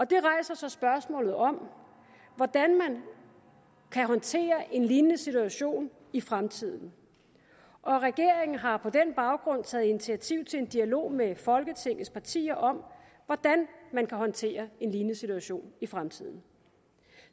det rejser så spørgsmålet om hvordan man kan håndtere en lignende situation i fremtiden og regeringen har på den baggrund taget initiativ til en dialog med folketingets partier om hvordan man kan håndtere en lignende situation i fremtiden